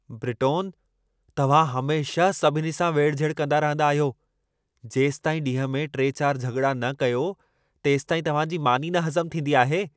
ब्रिटोन, तव्हां हमेशह सभिनी सां वेढ़-झेढ़ कंदा रहंदा आहियो। जेसिताईं ॾींहं में 3-4 झॻिड़ा न कयो, तेसिताईं तव्हां जी मानी न हज़म थींदी आहे।